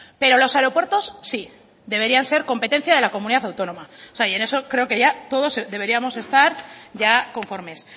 pero los aeropuertos sí deberían ser competencia de la comunidad autónoma o sea y en eso creo que todos deberíamos estar ya conformes